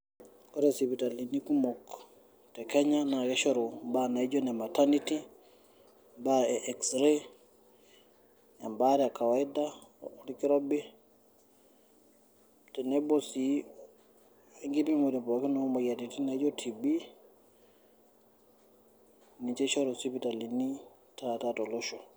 Ore sipitalini kumok te kenya na kishoru imbaa naijo ine maternity ,imbaa e X-ray ,ebaare e kawaida orkirobi, tenebo si enkipimore pookin omoyiaritin naijo TB,ninche ishoru isipitalini taata tolosho.